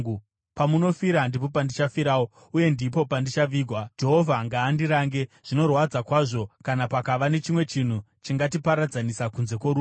Pamunofira ndipo pandichafirawo, uye ndipo pandichavigwa. Jehovha ngaandirange, zvinorwadza kwazvo, kana pakava nechimwe chinhu chingatiparadzanisa kunze kworufu.”